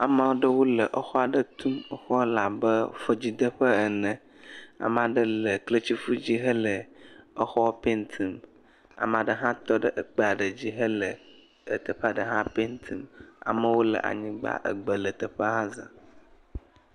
Ame aɖewo le exɔ aɖe tum, exɔa le abe fɔdzideƒe ene, ame ɖe le kletifɔ dzi hele exɔ paint mu ame aɖe hã tɔ ɖe ekpe aɖe dzi hele teƒe eɖe hã paint mu, amewo le anyigba, egbe le teƒea za.